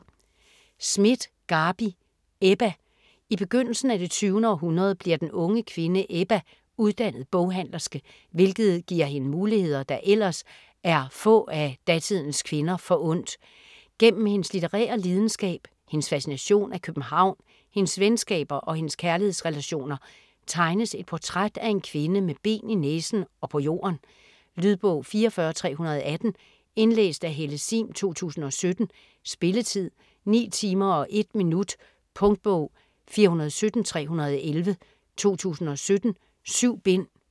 Schmidt, Garbi: Ebba I begyndelsen af det 20. århundrede bliver den unge kvinde Ebba uddannet boghandlerske, hvilket giver hende muligheder, der ellers er få af datidens kvinder forundt. Gennem hendes litterære lidenskab, hendes fascination af København, hendes venskaber og hendes kærlighedsrelationer tegnes et portræt af en kvinde med ben i næsen og på jorden. Lydbog 44318 Indlæst af Helle Sihm, 2017. Spilletid: 9 timer, 1 minut. Punktbog 417311 2017. 7 bind.